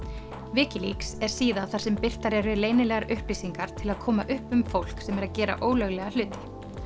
Wikileaks er síða þar sem birtar eru leynilegar upplýsingar til að koma upp um fólk sem er að gera ólöglega hluti